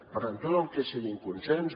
per tant tot el que sigui amb consens